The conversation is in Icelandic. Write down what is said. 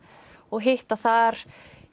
og hitta þar